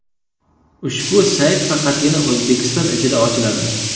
Ushbu sayt faqatgina O‘zbekiston ichida ochiladi.